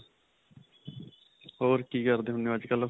ਹੋਰ ਕੀ ਕਰਦੇ ਹੁੰਨੇ ਓ ਅੱਜਕਲ੍ਹ?